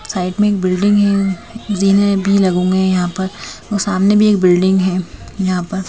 Side में एक building है जीने भी लगे हुए हैं यहां पर और सामने भी एक बिल्डिंग है यहां पर।